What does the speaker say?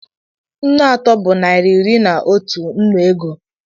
Nnu atọ bụ naira iri na otu nnu ego